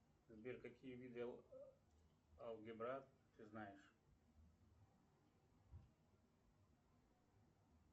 сбер какие виды алгебра ты знаешь